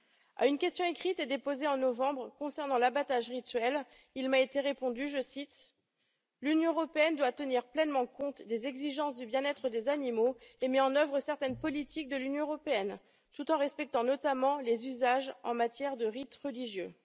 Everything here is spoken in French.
À une question écrite déposée en novembre concernant l'abattage rituel, il m'a été répondu, je cite l'Union européenne doit tenir pleinement compte des exigences du bien être des animaux et met en œuvre certaines politiques de l'Union européenne, tout en respectant notamment les usages en matière de rites religieux.